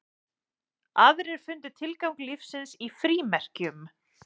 Aðrir fundu tilgang lífsins í frímerkjum.